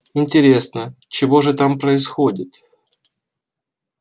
интересно чего же там происходит